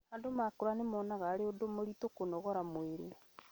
andũ makũra nĩmonaga arĩ ũndũ mũritũ kũnogora mwĩrĩ